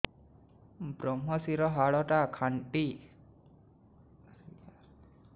ଵ୍ରମଶିର ହାଡ଼ ଟା ଖାନ୍ଚି ରଖିଛି ହାଡ଼ ଡାକ୍ତର କୁ ଦେଖିଥାନ୍ତି